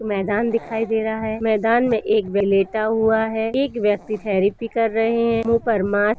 मैदान दिखाई दे रहा है मैदान में एक लेटा हुआ है एक व्यक्ति थेरपी कर रहे हैं मुंह पर मास्क --